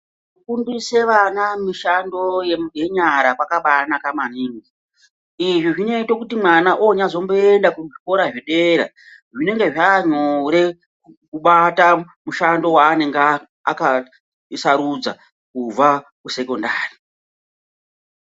Kufundise vana mushando yenyara zvakabanaka maningi izvi zvinoite mwana onyazomboenda kuzvikora zvedera zvinenge zvanyore kubata mushando wanenge akasarudza kubva kusekondari .